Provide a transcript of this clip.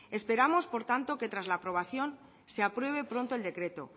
esperamos por tanto que tras la aprobación se apruebe pronto el decreto